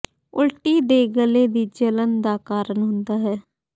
ਉਲਟੀ ਦੇ ਗਲੇ ਦੀ ਜਲਣ ਦਾ ਕਾਰਨ ਹੁੰਦਾ ਹੈ